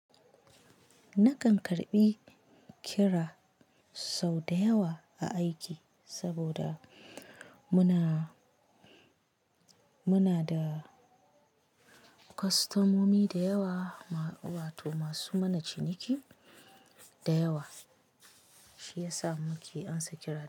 Nakan karbi kira sau da yawa a aiki, saboda muna, muna da kwastomomi da yawa ma wato masu mana ciniki da yawa, shi yasa muke ansa kira.